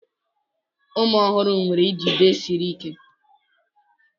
Ụmụ ọhụrụ nwere njide siri ike